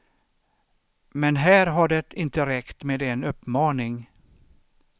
Men här har det inte räckt med en uppmaning.